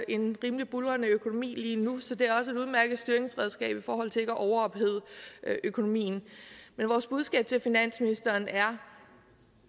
en rimelig buldrende økonomi lige nu så det er også et udmærket styringsredskab i forhold til ikke at overophede økonomien men vores budskab til finansministeren er